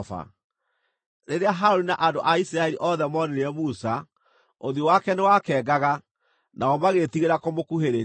Rĩrĩa Harũni na andũ a Isiraeli othe moonire Musa, ũthiũ wake nĩwakengaga, nao magĩĩtigĩra kũmũkuhĩrĩria.